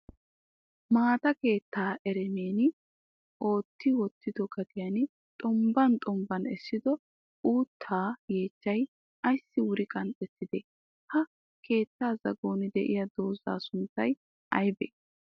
Maata keettaa eremen ootti wottido gadiyan xombban xombban essido uuttaa yeechchay ayissi wuri qanxxettidee? Ha keettaa zagon diya dozzaa sunttay ayibee?